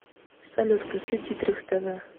салют включи дитрих тэ вэ